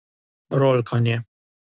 Rolkanje.